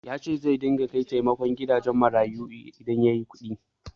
Ya ce zai dinga kai taimako gidajen marayu idan ya yi kuɗi.